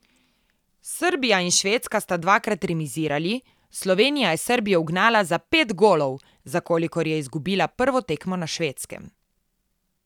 Srbija in Švedska sta dvakrat remizirali, Slovenija je Srbijo ugnala za pet golov, za kolikor je izgubila prvo tekmo na Švedskem.